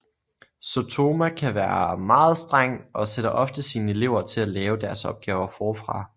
Sotoma kan være meget streng og sætter ofte sine elever til at lave deres opgaver forfra